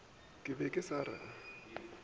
ke be ke sa re